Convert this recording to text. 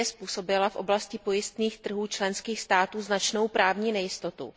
2 způsobila v oblasti pojistných trhů členských států značnou právní nejistotu.